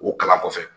O kalan kɔfɛ